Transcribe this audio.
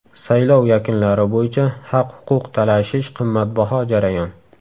Saylov yakunlari bo‘yicha haq-huquq talashish qimmatbaho jarayon.